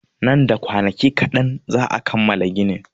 Nan da kwanaki kaɗan za'a kammala ginin.